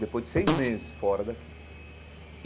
Depois de seis meses fora daqui.